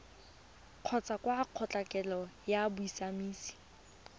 kgotsa kwa kgotlatshekelo ya bosiamisi